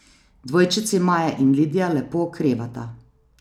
Dvojčici Maja in Lidija lepo okrevata.